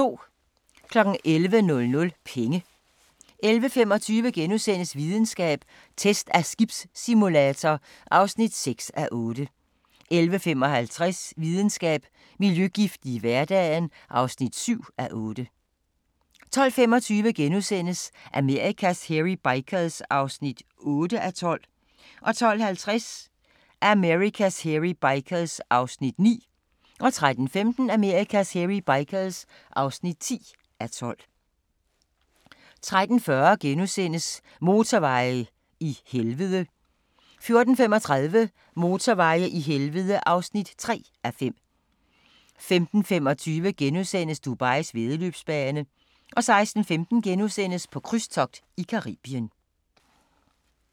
11:00: Penge 11:25: Videnskab: Test af skibssimulator (6:8)* 11:55: Videnskab: Miljøgifte i hverdagen (7:8) 12:25: Amerikas Hairy Bikers (8:12)* 12:50: Amerikas Hairy Bikers (9:12) 13:15: Amerikas Hairy Bikers (10:12) 13:40: Motorveje i helvede (2:5)* 14:35: Motorveje i helvede (3:5) 15:25: Dubais væddeløbsbane * 16:15: På krydstogt i Caribien *